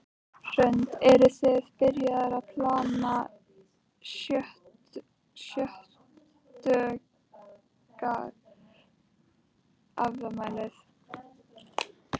Hrund: Eruð þið byrjaðar að plana sjötugsafmælið?